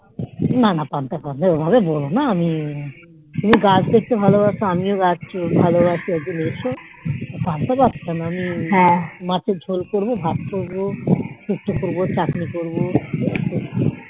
না না পান্তা ভাত না অভাবে বোলো না আমি তুমি গাছ দেখতে ভালো বাস আমিও গাছ দেখতে ভালোবাসি একদিন এসো পান্তা ভাত কোনো আমি মাছের ঝোল করবো চাটনি করবো